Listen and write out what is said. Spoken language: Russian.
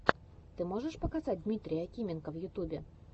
ты можешь показать дмитрия акименко в ютубе